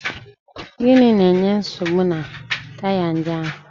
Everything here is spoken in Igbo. Gịnị na-enye nsogbu na taya ndị ahụ?